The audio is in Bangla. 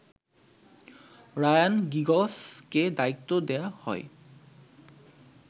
রায়ান গিগসকে দায়িত্ব দেয়া হয়